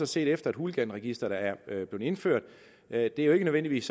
set efter at hooliganregisteret er blevet indført er at det nødvendigvis